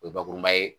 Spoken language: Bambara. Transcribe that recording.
O ye bakuruman ye